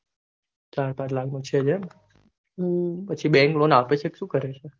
ચાર પાંચ લાખ નો છેજ એમ પછી આગળ ચેક સુ કરો છો